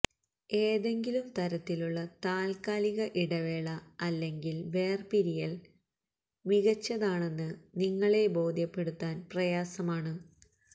ഏതെങ്കിലും തരത്തിലുള്ള താൽക്കാലിക ഇടവേള അല്ലെങ്കിൽ വേർപിരിയൽ മികച്ചതാണെന്ന് നിങ്ങളെ ബോധ്യപ്പെടുത്താൻ പ്രയാസമാണ്